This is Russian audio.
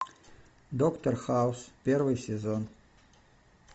доктор хаус первый сезон